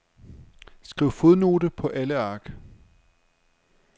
Skriv fodnote på alle ark.